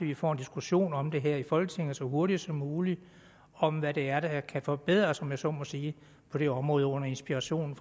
vi får en diskussion om det her i folketinget så hurtigt som muligt om hvad det er der kan forbedres om jeg så må sige på det område under inspiration